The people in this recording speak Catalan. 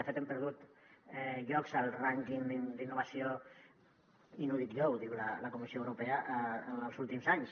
de fet hem perdut llocs al rànquing d’innovació i no ho dic jo ho diu la comissió europea en els últims anys